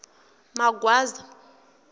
magwaza